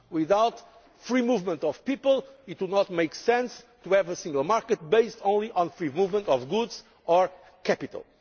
Without the free movement of people, it would not make sense to have a single market based only on the free movement of goods or capital.